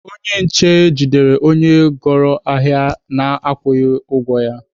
Onye nje jidere onye goro ahịa na-akwụghị ụgwọ ya.